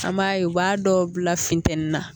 An b'a ye u b'a dɔw bila finteni na